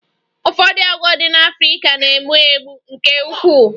Ụfọdụ agwọ ndị Africa na-egbu egbu nke ukwuu